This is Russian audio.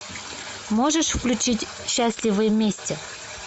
можешь включить счастливы вместе